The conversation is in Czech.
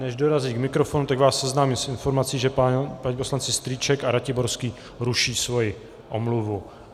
Než dorazí k mikrofonu, tak vás seznámím s informací, že pan poslanec Strýček a Ratiborský ruší svoji omluvu.